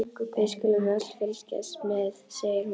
Við skulum öll fylgjast með, segir hún.